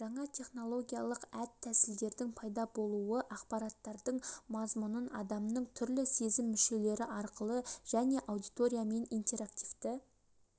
жаңа технологиялық әд тәсілдердің пайда болуы ақпараттардың мазмұнын адамның түрлі сезім мүшелері арқылы және аудиториямен интерактивті